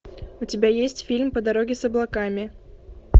у тебя есть фильм по дороге с облаками